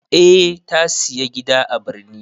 Eh ta sayi gida a birni.